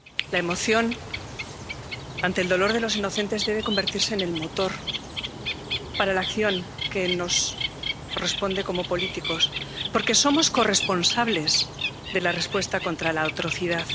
La emoción ante el dolor de los inocentes debe convertirse en el motor para la acción que nos corresponde como políticos, porque somos corresponsables de la respuesta contra la atrocidad.